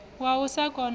wa u sa kona u